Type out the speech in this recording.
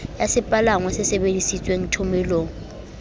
wa sepalangwa se sebedisitweng thomelong